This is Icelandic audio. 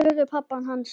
spurði pabbi hans.